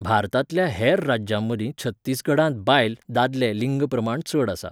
भारतांतल्या हेर राज्यांमदीं छत्तीसगडांत बायल, दादले लिंग प्रमाण चड आसा.